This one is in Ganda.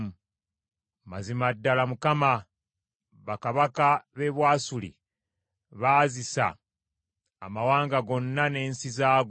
“Mazima ddala Mukama , bakabaka b’e Bwasuli baazisa amawanga gonna n’ensi zaago,